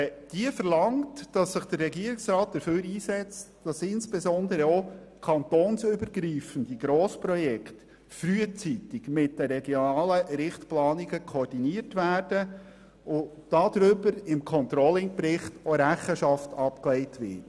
Sie verlangt, dass sich der Regierungsrat dafür einsetzt, dass insbesondere auch kantonsübergreifende Grossprojekte frühzeitig mit den regionalen Richtplanungen koordiniert werden und auch darüber im Controlling-Bericht Rechenschaft abgelegt wird.